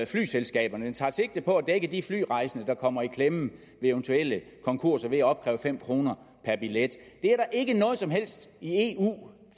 flyselskaberne det tager sigte på at dække de flyrejsende der kommer i klemme ved eventuelle konkurser ved at opkræve fem kroner per billet der er ikke noget som helst i eu